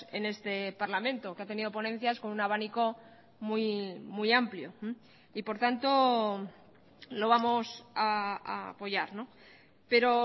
en este parlamento que ha tenido ponencias con un abanico muy amplio y por tanto lo vamos a apoyar pero